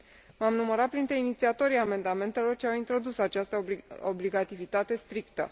M am numărat printre inițiatorii amendamentelor ce au introdus această obligativitate strictă.